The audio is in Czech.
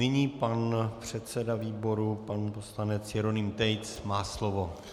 Nyní pan předseda výboru, pan poslanec Jeroným Tejc má slovo.